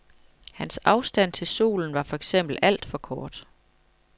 Hans afstand til solen var for eksempel alt for kort.